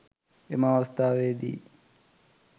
එම අවස්ථාවේදී